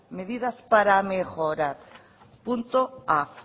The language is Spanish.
medidas para mejorar punto a